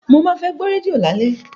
Mo máa gbọ́ rédíò lálẹ́